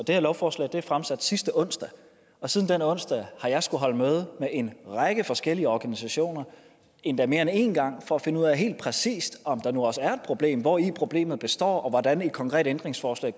det her lovforslag blev fremsat sidste onsdag og siden den onsdag har jeg skullet holde møder med en række forskellige organisationer endda mere end en gang for at finde ud af helt præcist om der nu også er et problem hvori problemet består og hvordan et konkret ændringsforslag